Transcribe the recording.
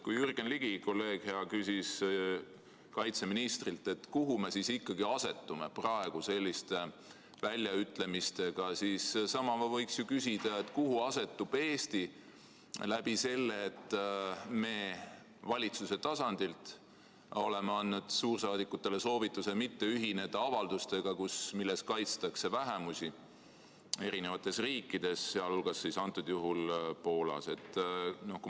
Kui hea kolleeg Jürgen Ligi küsis kaitseministrilt, kuhu me ikkagi asetume praegu selliste väljaütlemistega, siis samamoodi võiks ju küsida, kuhu asetub Eesti sellega, et me valitsuse tasandil oleme andnud suursaadikutele soovituse mitte ühineda avaldustega, milles kaitstakse vähemusi eri riikides, sh antud juhul Poolas.